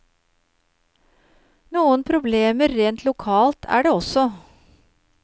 Noen problemer rent lokalt er det også.